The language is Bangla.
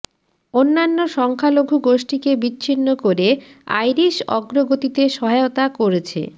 অন্যান্য সংখ্যালঘু গোষ্ঠীকে বিচ্ছিন্ন করে আইরিশ অগ্রগতিতে সহায়তা করেছে